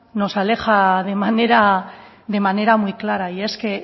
de manera muy clara y es que